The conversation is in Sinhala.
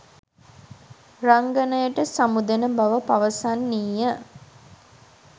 රංගනයට සමුදෙන බව පවසන්නීය.